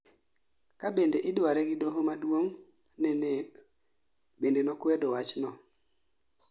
Kabende idware gi doho maduong' ne nek bende nokwedo wachno